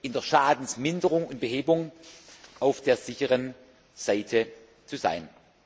in der Schadensminderung und behebung auf der sicheren Seite zu sein.